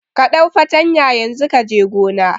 Ka ɗau fartanya yanzu kaje gona